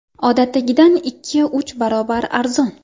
Odatdagidan ikki-uch barobar arzon.